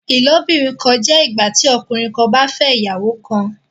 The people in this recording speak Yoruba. ilobìrin kán jẹ ìgbàtí ọkùnrin kán bà fè ìyàwó kán.